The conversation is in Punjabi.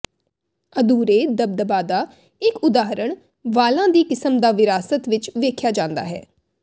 ਅਧੂਰੇ ਦਬਦਬਾ ਦਾ ਇੱਕ ਉਦਾਹਰਣ ਵਾਲਾਂ ਦੀ ਕਿਸਮ ਦਾ ਵਿਰਾਸਤ ਵਿੱਚ ਵੇਖਿਆ ਜਾਂਦਾ ਹੈ